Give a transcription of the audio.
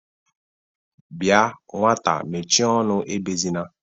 Bia nwata mechie ọnụ, ebezina!